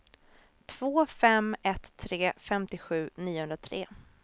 två fem ett tre femtiosju niohundratre